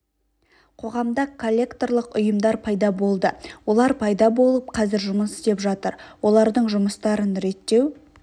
қоғамда коллекторлық ұйымдар пайда болды олар пайда болып қазір жұмыс істеп жатыр олардың жұмыстарын реттеу